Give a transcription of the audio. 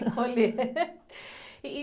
Encolher. E...